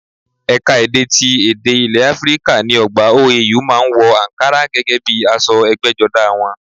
Ẹ̀ka ti èdè àti èdè ilè Áfíríkà ní ọgbà OAU má a ń wọ àǹkará gẹ́gẹ́ bíi aṣọ ẹgbẹ́jọdá wọn